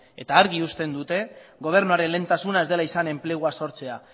eta argi uzten dute gobernuaren lehentasuna ez dela izan enplegua sortzea